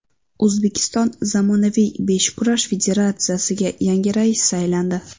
O‘zbekiston zamonaviy beshkurash federatsiyasiga yangi rais saylandi.